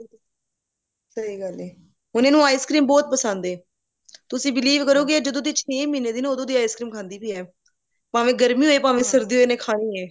ਸਹੀ ਗੱਲ ਏ ਹੁਣ ਇਹਨੂੰ ice cram ਬਹੁਤ ਪਸੰਦ ਏ ਤੁਸੀਂ believe ਕਰੋਗੇ ਇਹ ਜਦੋ ਦੀ ਛੇ ਮਹੀਨੇ ਦੀ ਉਦੋਂ ਦੀ ice cream ਖਾਂਦੀ ਸੀ ਐ ਭਾਵੇਂ ਗਰਮੀ ਹੋਵੇ ਭਾਵੇਂ ਸਰਦੀ ਹੋਵੇ ਇਹਨੇ ਖਾਣੀ ਐ